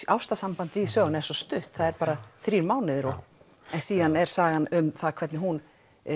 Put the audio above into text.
ástarsambandið í sögunni er svo stutt bara þrír mánuðir síðan er sagan um hvernig hún